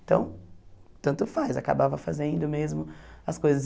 Então, tanto faz, acabava fazendo mesmo as coisas.